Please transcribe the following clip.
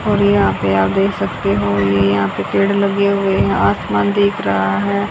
और यहां पे आप देख सकते हो ये यहां पे पेड़ लगे हुए हैं आसमान दिख रहा है।